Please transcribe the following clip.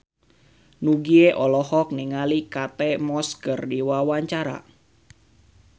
Nugie olohok ningali Kate Moss keur diwawancara